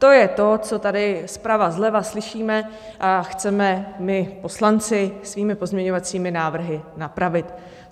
To je to, co tady zprava, zleva slyšíme a chceme my poslanci svými pozměňovacími návrhy napravit.